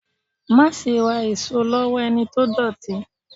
Máa ṣe ra èso lowo ẹni tó dọ̀tí.